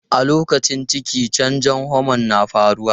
A lokacin ciki, canjon homon na faruwa.